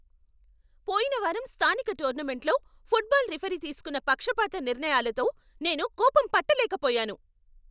పోయిన వారం స్థానిక టోర్నమెంట్లో, ఫుట్బాల్ రిఫరీ తీసుకున్న పక్షపాత నిర్ణయాలతో నేను కోపం పట్టలేకపోయాను.